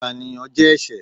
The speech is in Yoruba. ìpáníyán jẹ ẹṣẹ